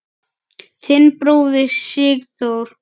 Þinn bróðir, Sigþór.